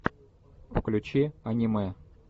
включи аниме